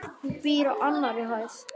Hún býr á annarri hæð.